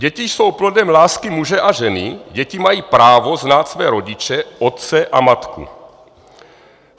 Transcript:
Děti jsou plodem lásky muže a ženy, děti mají právo znát své rodiče, otce a matku.